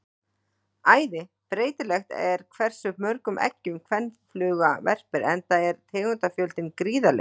Æði breytilegt er hversu mörgum eggjum kvenfluga verpir enda er tegundafjöldinn gríðarlegur.